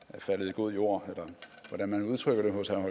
er faldet i god jord eller hvordan man udtrykker det hos herre